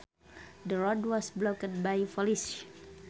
The road was blocked by police